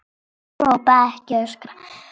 Ekki hrópa, ekki öskra!